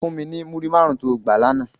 Fún mi ni múrí márùn tó gbá làná